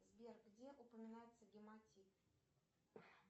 сбер где упоминается гематит